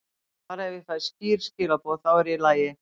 Bara ef ég fæ skýr skilaboð, þá er ég í lagi.